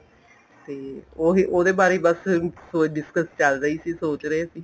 ਤੇ ਉਹ ਉਹਦੇ ਬਾਰੇ ਈ ਬੱਸ discuss ਚੱਲ ਰਹੀ ਸੀ ਸੋਚ ਰਹੇ ਸੀ